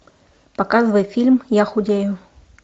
показывай фильм я худею